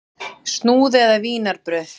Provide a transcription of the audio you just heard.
Snúð eða vínarbrauð?